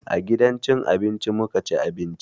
A gidan cin abinci muka ci abinci.